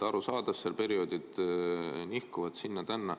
Arusaadav, seal perioodid nihkuvad sinna-tänna.